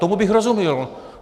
Tomu bych rozuměl.